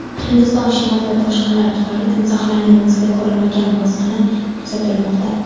Hindiston shimolida toshqinlar tufayli timsohlarning misli ko‘rilmagan bosqini kuzatilmoqda.